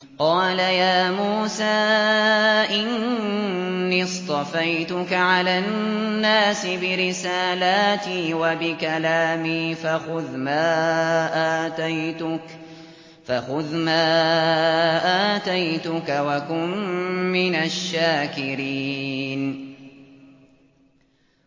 قَالَ يَا مُوسَىٰ إِنِّي اصْطَفَيْتُكَ عَلَى النَّاسِ بِرِسَالَاتِي وَبِكَلَامِي فَخُذْ مَا آتَيْتُكَ وَكُن مِّنَ الشَّاكِرِينَ